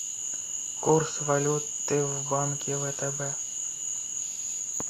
курс валюты в банке втб